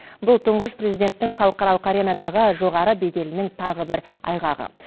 бұл тұңғыш президенттің халықаралық аренадағы жоғары беделінің тағы да бір айғағы